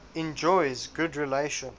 enjoys good relations